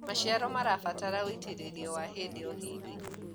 maciaro marabata ũitiririo wa hĩndĩ o hĩndĩ